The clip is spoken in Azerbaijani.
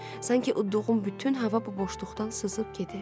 Sanki uddduğum bütün hava bu boşluqdan sızıb gedir.